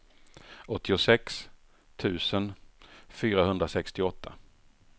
åttiosex tusen fyrahundrasextioåtta